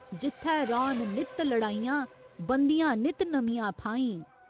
जित्थै रौह्‌न नित्त लड़ाइयां बनदियां नित्त नमियां फाहीं।